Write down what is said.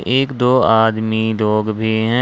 एक दो आदमी डॉग भी हैं।